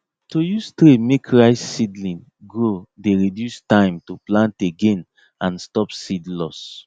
to use tray make rice seedling grow dey reduce time to plant again and stop seed loss